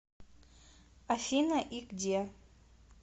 афина и где